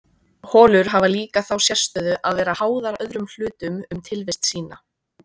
Holur hafa líka þá sérstöðu að vera háðar öðrum hlutum um tilvist sína.